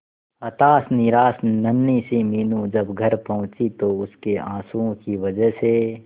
हताश निराश नन्ही सी मीनू जब घर पहुंची तो उसके आंसुओं की वजह से